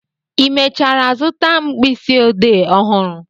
ị mechara zụta mkpịsị ode ọhụrụ?